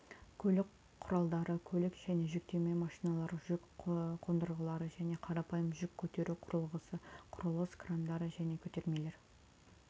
көлік құралдары көлік және жүктеме машиналар жүк қондырғылары және қарапайым жүк көтеру құрылғысы құрылыс крандары және көтермелер